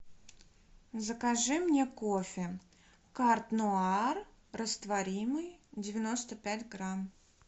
закажи мне кофе карт нуар растворимый девяносто пять грамм